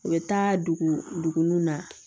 U bɛ taa dugu nun na